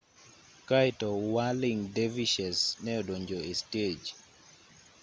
kaeto whirling dervishes ne odonjo e stej